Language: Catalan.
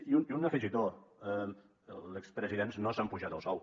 i un afegitó els expresidents no s’han apujat el sou